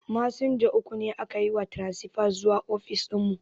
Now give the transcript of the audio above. Masinja uku aka yi wa taransifa zuwa ofis dinmu